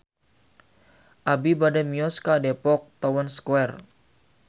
Abi bade mios ka Depok Town Square